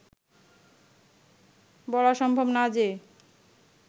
বলা সম্ভব না যে